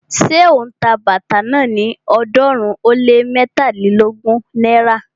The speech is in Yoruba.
Ṣé ó ń ta bàtà náà ní ọ̀ọ́dúnrún ó lé mẹ́tàlélógún náírà?